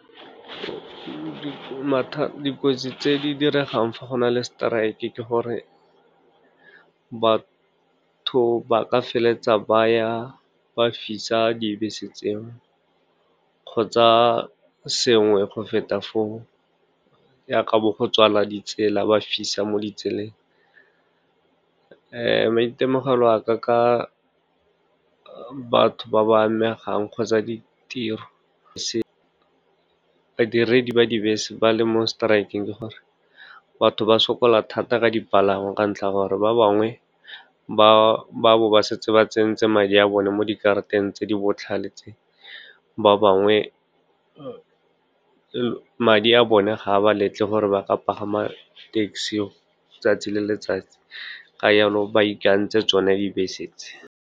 Dikotsi tse di diregang fa go na le strike-e ke gore batho ba ka feleletsa ba ya ba fisa dibese tse o, kgotsa sengwe go feta fo o, ya ka bo go tswala ditsela, ba fisa mo ditseleng. Maitemogelo aka ka batho ba ba amegang kgotsa ditiro, badiredi ba dibese ba le mo strike-eng, ke gore batho ba sokola thata ka dipalangwa ka ntlha ya gore ba bangwe ba bo ba setse ba tsentse madi a bone mo dikarateng tse di botlhale tse. Ba bangwe madi a bone ga ba letle gore ba ka pagama taxi 'tsatsi le letsatsi, ka yalo ba ikantse tsone dibese tse.